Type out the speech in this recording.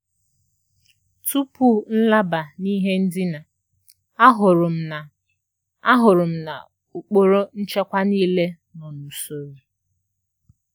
Tupú nlábá ná ìhé ndíná, àhụ́rụ́ m ná àhụ́rụ́ m ná ùkpóró nchékwà níilé nọ́ n’ùsóró.